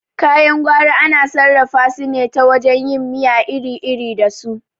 Kayan gwari ana sarrafa su ne ta wajen yin miya iri iri da su